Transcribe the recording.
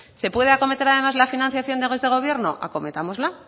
se puede acometer además la financiación desde el gobierno acometámosla